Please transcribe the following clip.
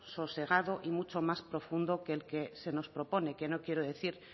sosegado y mucho más profundo que el que se nos propone que no quiero decir